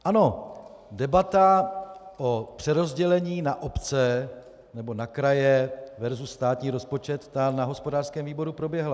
Ano, debata o přerozdělení na obce nebo na kraje versus státní rozpočet, ta na hospodářském výboru proběhla.